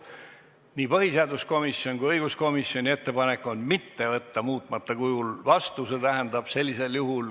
Nii põhiseaduskomisjoni kui õiguskomisjoni ettepanek on mitte võtta seadust muutmata kujul vastu.